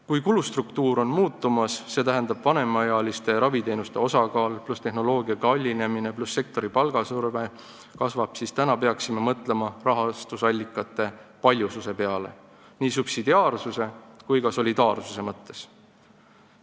Kui kulustruktuur on muutumas, st vanemaealistele osutatavate raviteenuste suurem osakaal pluss tehnoloogia kallinemine pluss sektoriti kasvav palgasurve, siis peaksime mõtlema rahastusallikate paljususe peale nii subsidiaarsuse kui ka solidaarsuse mõttes.